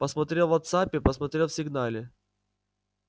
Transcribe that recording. посмотрел в вотсаппе посмотрел в сигнале